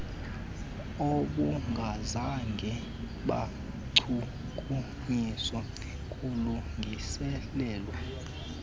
obungazange bachukunyiswa kulungiselelwa